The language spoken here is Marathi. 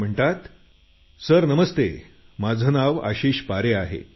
ते म्हणतात सर नमस्ते माझं नाव आशिष पारे आहे